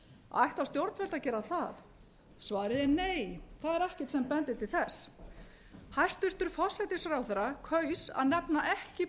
ætla stjórnvöld að gera að svarið er nei það er ekkert sem bendir til þess hæstvirtur forsætisráðherra kaus að nefna ekki